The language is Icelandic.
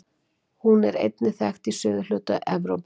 Hún er einnig þekkt í suðurhluta Evrópu.